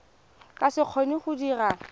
ka se kgone go dira